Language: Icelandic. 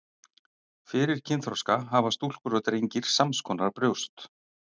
Fyrir kynþroska hafa stúlkur og drengir sams konar brjóst.